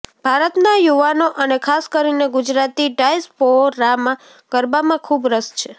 ભારતના યુવાનો અને ખાસ કરીને ગુજરાતી ડાયસ્પોરામાં ગરબામાં ખૂબ રસ છે